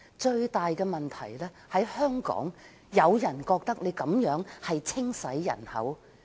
最大問題在於，香港有人覺得單程證制度實屬"清洗人口"。